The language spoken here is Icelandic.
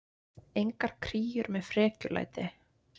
Engar kríur með frekjulæti.